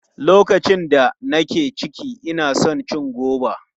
Lokacin da nake ciki, ina son cin goba.